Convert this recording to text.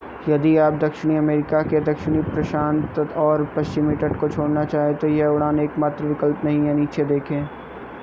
यदि आप दक्षिणी अमरीका के दक्षिणी प्रशांत और पश्चिमी तट को छोड़ना चाहें तो यह उड़ान एकमात्र विकल्प नहीं है. नीचे देखें